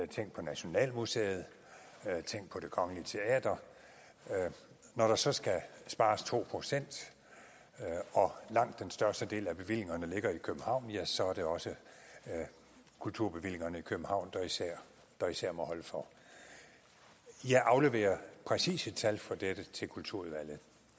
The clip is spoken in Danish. tænk på nationalmuseet tænk på det kongelige teater når der så skal spares to procent og langt den største del af bevillingerne ligger i københavn ja så er det også kulturbevillingerne i københavn der især der især må holde for jeg afleverer præcise tal for dette til kulturudvalget